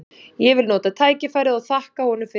Ég vil nota tækifærið og þakka honum fyrir það.